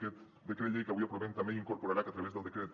aquest decret llei que avui aprovem també hi incorporarà que a través del decret